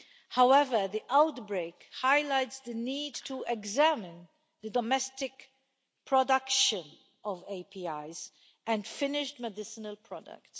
However, the outbreak highlights the need to examine the domestic production of APIs and finished medicinal products.